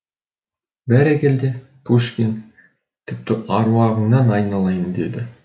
бәрекелде пушкин тіпті әруағыңнан айналайын деді